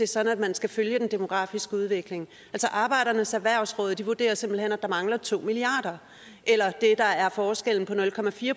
sådan at man skal følge den demografiske udvikling arbejdernes erhvervsråd vurderer simpelt hen at der mangler to milliard kr eller det der er forskellen